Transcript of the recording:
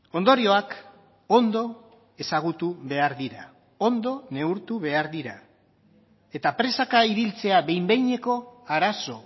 ondorioak ondo ezagutu behar dira ondo neurtu behar dira eta presaka ibiltzea behin behineko arazo